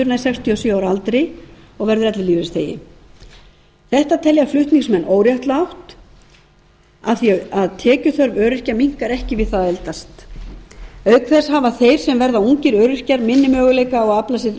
nær sextíu og sjö ára aldri og verður ellilífeyrisþegi þetta telja flutningsmenn óréttlátt af því að tekjuþörf öryrkja minnkar ekki við það að eldast auk þess hafa þeir sem verða ungir öryrkja minni möguleika á að afla sér